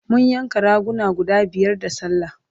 mun yanka raguna guda biyar da sallah